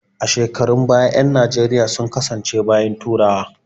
A shekarun baya ƴan najeriya sun kasance bayin turawa